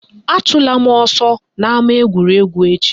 Achụla m ọsọ n'ama egwuregwu echi!